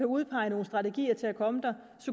udpege nogle strategier til at komme der